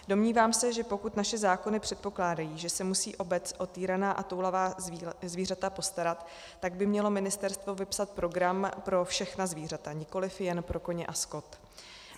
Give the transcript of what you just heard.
Domnívám se, že pokud naše zákony předpokládají, že se musí obec o týraná a toulavá zvířata postarat, tak by mělo ministerstvo vypsat program pro všechna zvířata, nikoliv jen pro koně a skot.